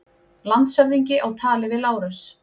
Landshöfðingi á tali við Lárus.